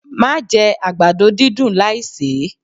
Má jẹ àgbàdo dídùn láì sè é!